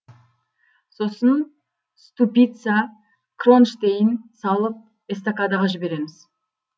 сосын ступица кронштейн салып эстакадаға жібереміз